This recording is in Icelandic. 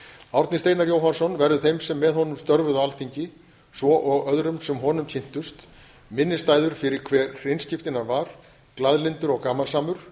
árni steinar jóhannsson verður þeim sem með honum störfuðu á alþingi svo og öðrum sem honum kynntust minnisstæður fyrir það hve hreinskiptinn hann var glaðlyndur og gamansamur